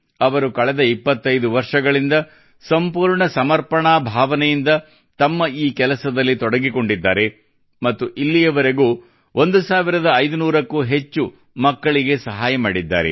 ಅವರು ಕಳೆದ 25 ವರ್ಷಗಳಿಂದ ಸಂಪೂರ್ಣ ಸಮರ್ಪಣಾ ಭಾವನೆಯಿಂದ ತಮ್ಮ ಈ ಕೆಲಸದಲ್ಲಿ ತೊಡಗಿಕೊಂಡಿದ್ದಾರೆ ಮತ್ತು ಇಲ್ಲಿಯವರೆಗೂ 1500 ಕ್ಕೂ ಅಧಿಕ ಮಕ್ಕಳಿಗೆ ಸಹಾಯ ಮಾಡಿದ್ದಾರೆ